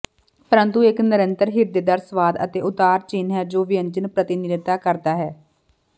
ਪਰੰਤੂ ਇੱਕ ਨਿਰੰਤਰ ਹਿਰਦੇਦਾਰ ਸਵਾਦ ਅਤੇ ਉਤਾਰ ਚਿੰਨ੍ਹ ਹੈ ਜੋ ਵਿਅੰਜਨ ਪ੍ਰਤਿਨਿਧਤਾ ਕਰਦਾ ਹੈ